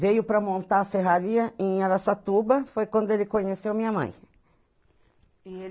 Veio para montar a serraria em Araçatuba, foi quando ele conheceu minha mãe.